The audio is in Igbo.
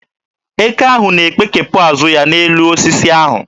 Eke ahụ na-ekpekepụ azụ ya n'elu osisi ahụ.